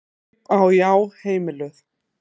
Kaup á Já heimiluð